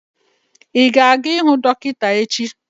Ị ga-aga ihuu dọkịta echi?